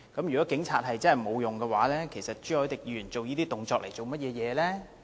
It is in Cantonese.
如果警察真的沒有用，其實朱凱廸議員做這些動作來幹嘛呢？